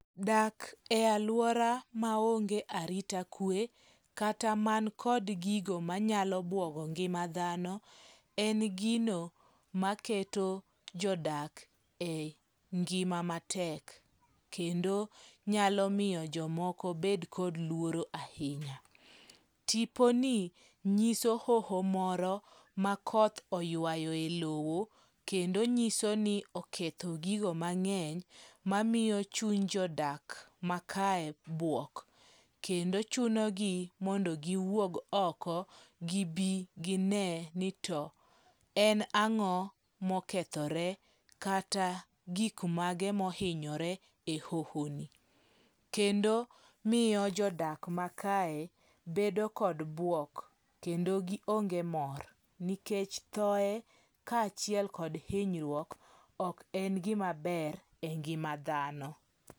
Dak e aluora maonge arita kwe kata man kod gigo manyalo buogo ngima dhano, en gino maketo jodak e ngima matek. Kendo nyalo miyo jomoko bed kod luoro ahinya. Tiponi nyiso hoho moro makoth oywayoe lowo kendo nyiso ni oketho gigo mang'eny mamiyo chuny jodak makae bwok. Kendo chunogi mondo giwuog oko, gibi gine ni to en ang'o mokethore kata gik mage mohinyore e hoho ni. Kendo miyo jodak makae bedo kod buok. Kendo gionge mor nikech thoe kaachiel kod hinyruok ok en gima ber engima dhano.